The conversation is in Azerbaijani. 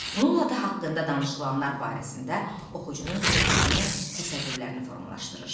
Bununla da haqqında danışılanlar barəsində oxucunun fikirlərini, təsəvvürlərini formalaşdırır.